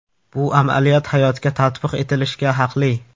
Bu amaliyot hayotga tatbiq etilishga haqli.